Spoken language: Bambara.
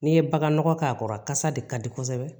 N'i ye bagan nɔgɔ k'a kɔrɔ a kasa de ka di kosɛbɛ